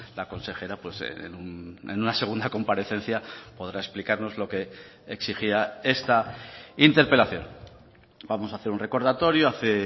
la consejera en una segunda comparecencia podrá explicarnos lo que exigía esta interpelación vamos a hacer un recordatorio hace